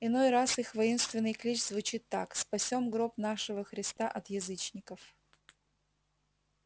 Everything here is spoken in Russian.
иной раз их воинственный клич звучит так спасём гроб нашего христа от язычников